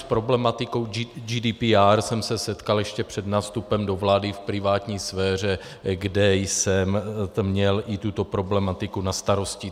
S problematikou GDPR jsem se setkal ještě před nástupem do vlády v privátní sféře, kde jsem měl i tuto problematiku na starosti.